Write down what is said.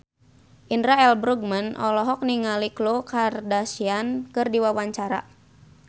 Indra L. Bruggman olohok ningali Khloe Kardashian keur diwawancara